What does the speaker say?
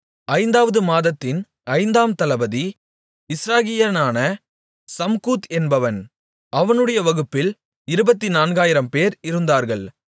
ஐந்தாவது மாதத்தின் ஐந்தாம் தளபதி இஸ்ராகியனான சம்கூத் என்பவன் அவனுடைய வகுப்பில் இருபத்துநான்காயிரம்பேர் இருந்தார்கள்